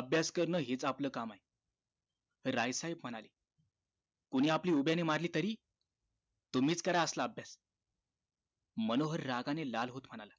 अभ्यास करणं हीच आपलं काम आहे राय साहेब म्हणाले कुणी आपली उभ्याने मारली तरी तुम्ही करा असला अभ्यास मनोहर रागा ने लाल होतो म्हणाला